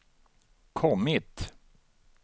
kommit